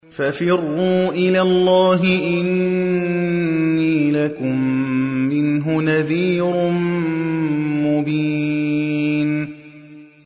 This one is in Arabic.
فَفِرُّوا إِلَى اللَّهِ ۖ إِنِّي لَكُم مِّنْهُ نَذِيرٌ مُّبِينٌ